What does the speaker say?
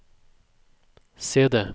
CD